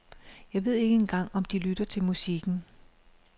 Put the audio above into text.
Jeg ved ikke engang om de lytter til musikken.